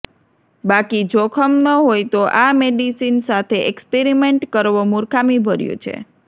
બાકી જોખમ ન હોય તો આ મેડિસિન સાથે એક્સપરિમેન્ટ કરવો મૂર્ખામીભર્યું છે